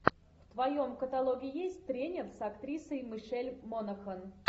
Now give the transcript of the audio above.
в твоем каталоге есть тренер с актрисой мишель монахэн